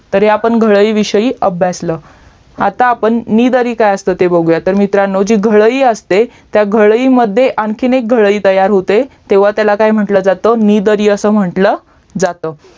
तर आपण घळई विषयी अभ्यासल आता आपण निदरी काय असते ते बघूयात मित्रांनो जी घळई असते त्या घळईमध्ये आणखीन एक घळई तयार होते तेव्हा त्याला काय म्हंटलं जात तर निदरी अस म्हंटलं जात